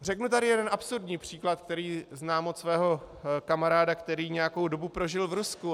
Řeknu tady jeden absurdní příklad, který znám od svého kamaráda, který nějakou dobu prožil v Rusku.